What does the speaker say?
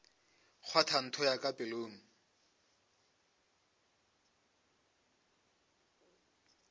kgwatha ntho pelong ya ka